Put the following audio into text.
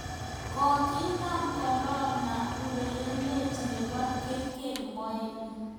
Kokinaam korona urerenindet nebo kriket Moeen Ali